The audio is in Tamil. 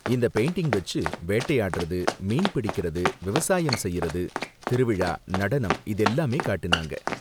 இந்த பெயிண்டிங் வெச்சு வேட்டையாடுறது, மீன் பிடிக்குறது, விவசாயம் செய்யுறது, திருவிழா, நடனம் இதெல்லாமே காட்டுனாங்க.